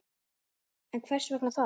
En hvers vegna það?